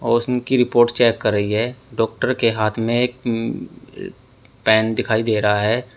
और उसंकी report check कर रही है डॉक्टर के हाथ में एक पेन दिखाई दे रहा है।